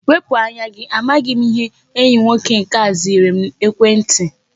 Wepụ anya gi! Amaghị m ihe enyi nwoke nke a ziyere m ekwentị!